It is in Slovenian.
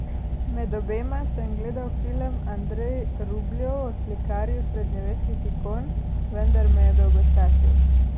Med obema sem gledal film Andrej Rubljov o slikarju srednjeveških ikon, vendar me je dolgočasil.